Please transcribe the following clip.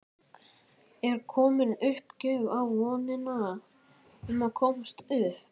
Er komin uppgjöf í vonina um að komast upp?